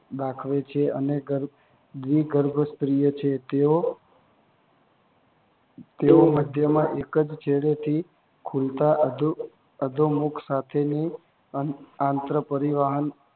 દાખવે છે અને વિર્ભસ્તરીય છે. તેઓ તેઓ મધ્યમાં એક જ છેડેથી ખુલતા અધોમુખ સાથેની આંત્ર પરિવહન